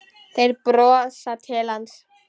Þeir brosa til hans.